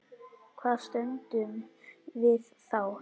Hvar stöndum við þá?